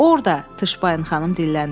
Orda Tışpayın xanım dilləndi.